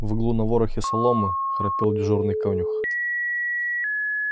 в углу на ворохе соломы храпел дежурный конюх